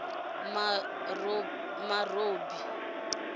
marobi